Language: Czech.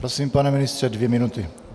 Prosím, pane ministře, dvě minuty.